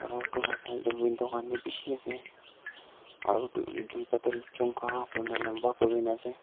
la side de window khan b bishi ase aru d duita toh chungha kuri na lamba kuri na ase.